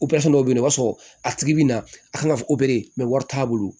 dɔw bɛ yen nɔ o b'a sɔrɔ a tigi bɛ na a kan ka fɔ wari t'a bolo